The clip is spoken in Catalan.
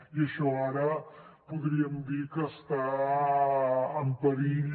i això ara podríem dir que està en perill